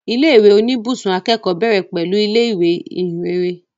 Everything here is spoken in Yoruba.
Ilé ìwé oníbùsùn akẹ́kọ̀ọ́ bẹ̀rẹ̀ pẹ̀lú ilé ìwé Ìhìnrere